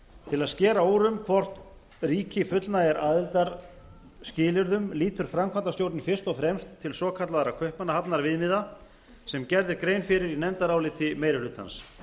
til að skera úr um hvort ríki fullnægi aðildarskilyrðum lítur framkvæmdarstjórnin fyrst og fremst til svokallaðra kaupmannahafnarviðmiða sem gerð er grein fyrir í nefndaráliti meiri hlutans